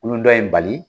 Wolo dɔ in bali